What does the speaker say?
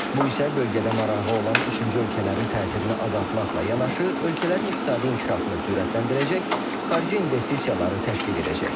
Bu isə bölgədə marağı olan üçüncü ölkələrin təsirini azaltmaqla yanaşı, ölkələrin iqtisadi inkişafını sürətləndirəcək, xarici investisiyaları təşviq edəcək.